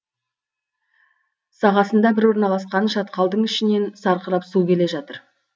сағасында біз орналасқан шатқалдың ішінен сарқырап су келе жатыр